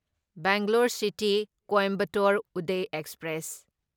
Bangalore city Coimbatore Uday express